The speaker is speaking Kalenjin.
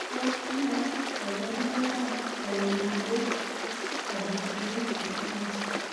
Tos nee koborunoikab Pyruvate carboxylase deficiency?